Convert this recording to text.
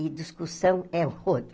E discussão é outra.